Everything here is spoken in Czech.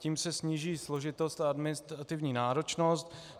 Tím se sníží složitost a administrativní náročnost.